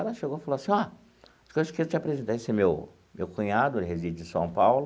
Ela chegou e falou assim, ó esse é meu meu cunhado, ele reside em São Paulo.